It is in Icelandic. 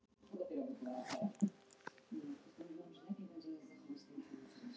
En hitt er svo allt annað mál hvað menn mundu kalla dag og hvað nótt.